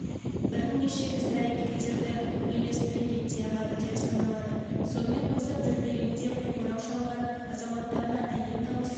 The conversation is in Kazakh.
бірнеше іс-әрекеттерді үйлестіре реттей алады деп саналады сонымен қоса дүрбелеңде қоңырау шалған азаматтарға әйел дауысы